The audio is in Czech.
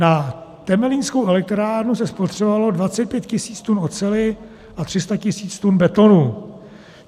Na Temelínskou elektrárnu se spotřebovalo 25 tis. tun oceli a 300 tis. tun betonu.